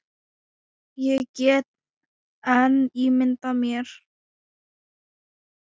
Ég get enn ímyndað mér!